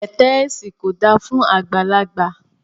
Pẹ̀tẹ́ẹ̀sì kò dáa fún àgbàlagbà